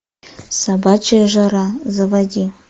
собачья жара заводи